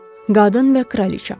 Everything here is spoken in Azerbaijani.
Qadın və kraliça.